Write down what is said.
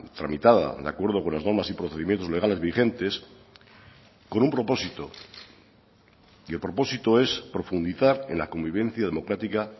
tramitada de acuerdo con las normas y procedimientos legales vigentes con un propósito y el propósito es profundizar en la convivencia democrática